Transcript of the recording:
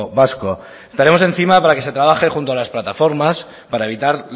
vasco estaremos encima para que se trabaje junto a las plataformas para evitar